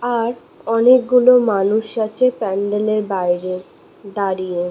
মনে ঽয় অনেকগুলো মানুষ আছে প্যান্ডেল এর বাইরে দাঁড়িয়ে।